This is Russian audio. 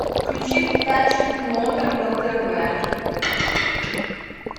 включи передачу номер на тв